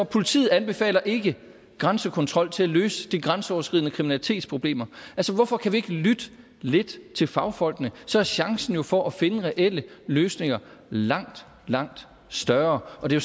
politiet anbefaler ikke grænsekontrol til at løse de grænseoverskridende kriminalitetsproblemer altså hvorfor kan vi ikke lytte lidt til fagfolkene for så er chancen jo for at finde reelle løsninger langt langt større det